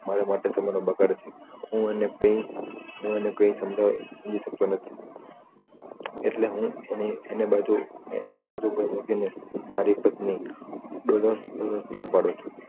માટે સમય નો બગાડ છે હું એને કઈક સમજાવવા બોલી શકતો નથી એટલે હું એને બધુ એની બધુ મૂકીને મારી પત્ની ઉપડું છું